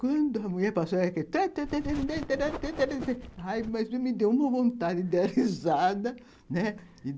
Quando a mulher passou, ela fez (tamtamtam)... Aí mas me deu uma vontade de dá risada, né.